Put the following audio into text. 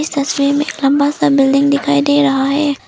इस तस्वीर में एक लंबा सा बिल्डिंग दिखाई दे रहा है।